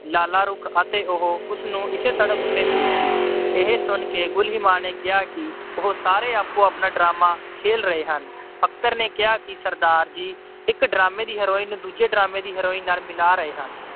ਲਾਲਾ ਰੁਖ ਤੇ ਉਹ ਉਸਨੂੰ ਇਸੇ ਸੜਕ ਤੇ ਮਿਲੀ ਸੀ। ਇਹ ਸੁਣ ਕੇ ਗੁਲੀਮਾ ਨੇ ਕਿਹਾ ਕਿ ਉਹ ਸਾਰੇ ਆਪੋ-ਆਪਣਾ drama ਖੇਡ ਰਹੇ ਹਨ। ਅਖਤਰ ਨੇ ਕਿਹਾ ਕਿ ਸਰਦਾਰ ਜੀ ਇੱਕ drama ਦੀ heroine ਨੂੰ ਦੂਜੇ drama ਦੀ heroine ਨਾਲ ਮਿਲਾ ਰਹੇ ਹਨ।